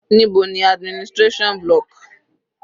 Níbo ni administration block?